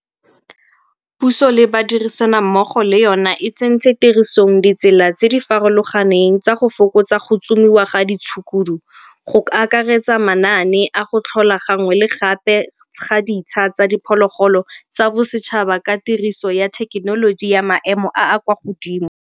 Puso le badirisanammogo le yona e tsentse tirisong ditsela tse di farologaneng tsa go fokotsa go tsomiwa ga ditshukudu go akaretsa manaane a go tlhola gangwe le gape ga ditsha tsa diphologolo tsa bosetšhaba ka tiriso ya thekenoloji ya maemo a a kwa godimo.